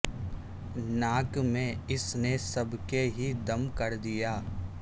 ناک میں اس نے سب کے ہی دم کردیا